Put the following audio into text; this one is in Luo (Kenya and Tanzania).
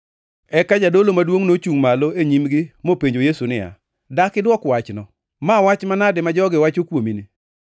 Eka jadolo maduongʼ nochungʼ malo e nyimgi mopenjo Yesu niya, “Dak idwok wachno? Ma wach manade ma jogi wacho kuomini?”